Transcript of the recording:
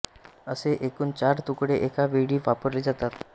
असे एकूण चार तुकडे एका वेळी वापरले जातात